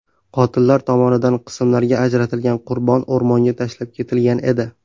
Qotillar tomonidan qismlarga ajratilgan qurbon o‘rmonga tashlab ketilgan edi.